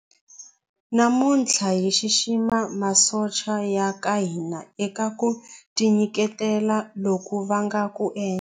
Namuntlha hi xixima masocha ya ka hina eka ku tinyiketela loku va nga ku endla.